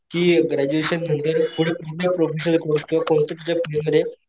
कि ग्रॅज्युएशन नंतर पुढं कोणताही प्रोफेशनल कोर्स कर कोणत्या तुझ्या फिल्ड मध्ये.